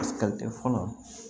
fɔlɔ